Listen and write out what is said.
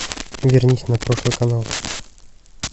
вернись на прошлый канал